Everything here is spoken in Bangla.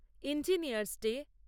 engineers day